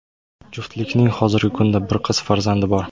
Juftlikning hozirgi kunda bir qiz farzandi bor.